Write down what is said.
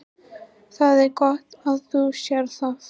Það er gott að þú sérð það.